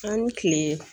An ni kile